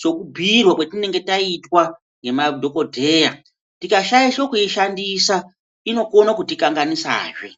sokubhuirwa kwatinenge taitwa ngemadhokodheya. Tikashaishe kuishandisa inokone kutikanganisazve.